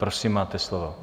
Prosím, máte slovo.